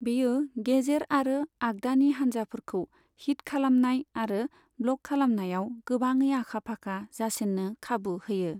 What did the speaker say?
बेयो गेजेर आरो आग्दानि हानजाफोरखौ हिट खालामनाय आरो ब्लक खालामनायाव गोबाङै आखा फाखा जासिन्नो खाबु होयो।